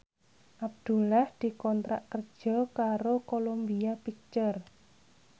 Abdullah dikontrak kerja karo Columbia Pictures